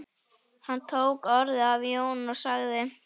Hann tók orðið af Jóni og sagði